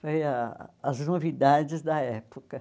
Foi ah as novidades da época.